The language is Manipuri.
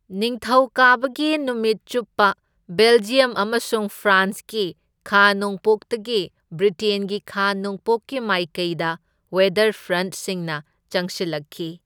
ꯅꯤꯡꯊꯧꯀꯥꯕꯒꯤ ꯅꯨꯃꯤꯠ ꯆꯨꯞꯄ, ꯕꯦꯜꯖꯤꯌꯝ ꯑꯃꯁꯨꯡ ꯐ꯭ꯔꯥꯟꯁꯀꯤ ꯈꯥ ꯅꯣꯡꯄꯣꯛꯇꯒꯤ ꯕ꯭ꯔꯤꯇꯦꯟꯒꯤ ꯈꯥ ꯅꯣꯡꯄꯣꯛꯀꯤ ꯃꯥꯏꯀꯩꯗ ꯋꯦꯗꯔ ꯐ꯭ꯔꯟꯠꯁꯤꯡꯅ ꯆꯪꯁꯤꯜꯂꯛꯈꯤ꯫